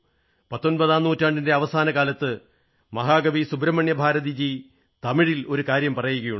പത്തൊമ്പതാം നൂറ്റാണ്ടിന്റെ അവസാന കാലത്ത് മഹാകവി സുബ്രഹ്മണ്യ ഭാരതിജി തമിഴിൽ ഒരു കാര്യം പറയുകയുണ്ടായി